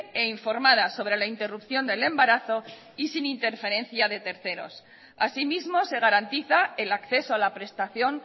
e informada sobre la interrupción del embarazo y sin interferencia de terceros asimismo se garantiza el acceso a la prestación